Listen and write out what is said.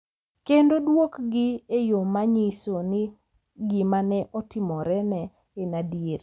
Kendo duokgi e yo ma nyiso ni gima ne otimorene en adier.